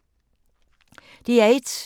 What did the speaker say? DR1